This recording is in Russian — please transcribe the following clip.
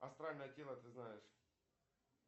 астральное тело ты знаешь